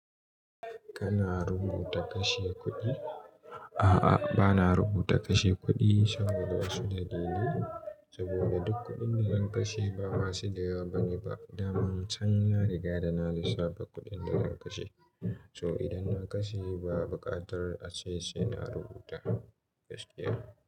Kana rubuta kashe kuɗi? A'a, bana rubuta kashe kuɗi saboda suɗinne, saboda duk kuɗin da zan kashe ba masu dayawa bane ba. Da man can na riga da na lissafa kuɗin da zan kashe. So idan na kashe ba buƙatar ace sai na rubuta. Yes dear.